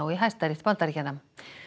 í Hæstarétt Bandaríkjanna